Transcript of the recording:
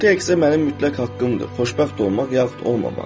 bu təkcə mənim mütləq haqqımdır, xoşbəxt olmaq yaxud olmamaq.